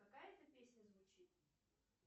какая это песня звучит